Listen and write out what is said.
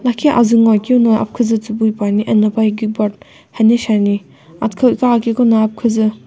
lakhi azuu ngoakeu no aphikuuzu tsubui puani eno paye keyboard hene shiani athikhau iqakeqono aphikuzu.